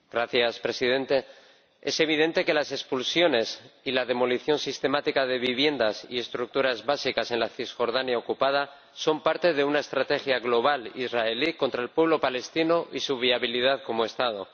Señor Presidente, es evidente que las expulsiones y la demolición sistemática de viviendas y estructuras básicas en la Cisjordania ocupada son parte de una estrategia global israelí contra el pueblo palestino y su viabilidad como Estado.